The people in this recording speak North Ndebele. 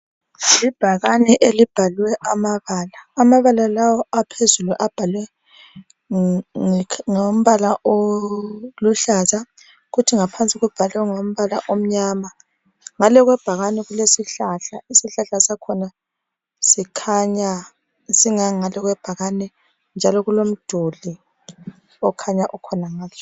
Ibhakane elibhalwe amabala. Amabala lawa aphezulu abhalwe ngombala oluhlaza. Kuthi ngaphansi kubhalwe ngombala omnyama . Ngale kwebhakane kulesihlahla. Isihlahla sakhona sikhanya singanga kwebhakane njalo kulomduli okhanya ukhonangale.